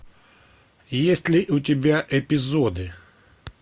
есть ли у тебя эпизоды